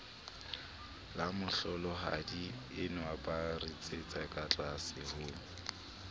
lamohlolohadienwa ba ritsetsa katlase ho